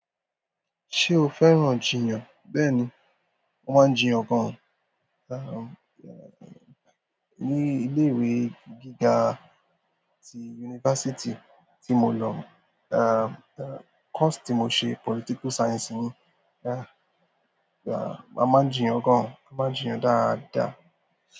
Se o fẹ́ràn jiyan. Bẹ́ẹ̀ni, mo máa ń jiyàn gan. Àń, ní ilé ìwé gíga tí yunifásítì tí mo lọ, àń, kọ́ọ̀sì tí mo ṣe political science ni. Àń, a máa ń jiyàn gan, a máa ń jiyàn dáadáa.